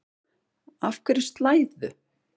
Af hverju slæðu?